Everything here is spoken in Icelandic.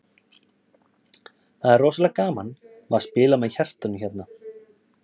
Það er rosalega gaman, maður spilar með hjartanu hérna.